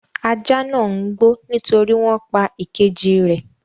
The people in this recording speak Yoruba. Ajá náà ń gbó nítorí wọn pa ìkejì rẹ̀.